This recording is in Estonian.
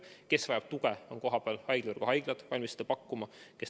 Nendele, kes vajavad tuge, on kohapealsed haiglavõrgu haiglad valmis seda pakkuma.